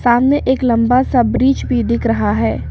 सामने एक लंबा सा ब्रिज भी दिख रहा है।